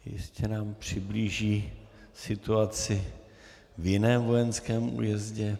Jistě nám přiblíží situaci v jiném vojenském újezdu.